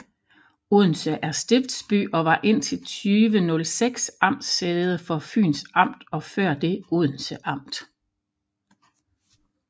Odense er stiftsby og var indtil 2006 amtssæde for Fyns Amt og før det Odense Amt